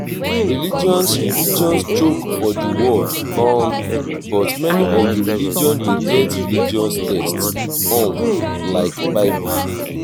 religions religions choke for di world um but many of di religion de get religous text um like bible